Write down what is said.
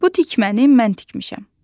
Bu tikməni mən tikmişəm.